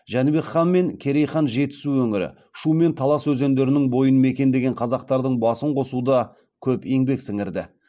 жәнібек хан мен керей хан жетісу өңірі шу мен талас өзендерінің бойын мекендеген қазақтардың басын қосуда көп еңбек сіңірді